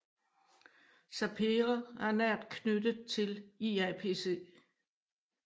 SAPERE er nært knyttet til IAPC